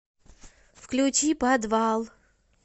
включи подвал